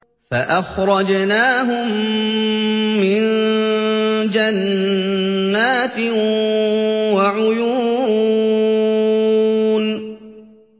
فَأَخْرَجْنَاهُم مِّن جَنَّاتٍ وَعُيُونٍ